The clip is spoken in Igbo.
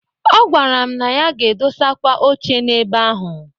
Ọ gwara m na ya ga-edosakwa oche n'ebe ahụ.